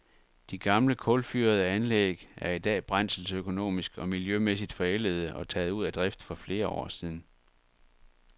De gamle, kulfyrede anlæg er i dag brændselsøkonomisk og miljømæssigt forældede og taget ud af drift for flere år siden.